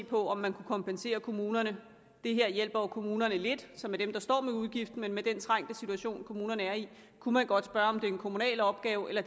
på om man kunne kompensere kommunerne det her hjælper jo kommunerne lidt som er dem der står med udgifterne men med den trængte situation kommunerne er i kunne man godt spørge om det er en kommunal opgave eller